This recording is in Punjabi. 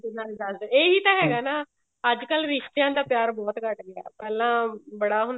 ਨਾਲੇ ਦੱਸਦੇ ਇਹੀ ਤਾਂ ਹੈਗਾ ਨਾ ਅੱਜਕਲ ਰਿਸ਼ਤੇਆਂ ਦਾ ਪਿਆਰ ਬਹੁਤ ਘੱਟ ਹੁੰਦਾ ਪਹਿਲਾ ਬੜਾ